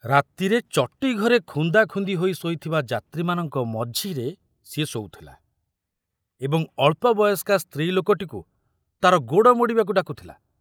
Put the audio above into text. ରାତିରେ ଚଟିଘରେ ଖୁନ୍ଦାଖୁନ୍ଦି ହୋଇ ଶୋଇଥିବା ଯାତ୍ରୀମାନଙ୍କ ମଝିରେ ସେ ଶୋଉଥିଲା ଏବଂ ଅଳ୍ପ ବୟସ୍କା ସ୍ତ୍ରୀ ଲୋକଟିକୁ ତାର ଗୋଡ଼ ମୋଡ଼ିବାକୁ ଡାକୁଥିଲା।